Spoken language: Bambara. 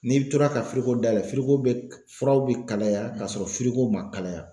N'i tora ka firiko dayɛlɛ firiko furaw be kalaya k'a sɔrɔ firiko ma kalaya